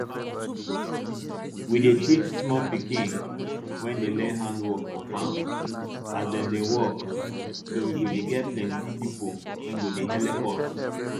we dey teach small pikin wey dey learn handiwork for farm as dem dey work so we go get plenti pipo wey go helep us